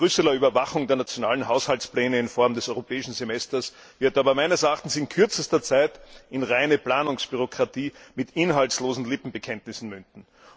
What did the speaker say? Die Brüsseler Überwachung der nationalen Haushaltspläne in Form des Europäischen Semesters wird aber in kürzester Zeit in reine Planungsbürokratie mit inhaltslosen Lippenbekenntnissen münden.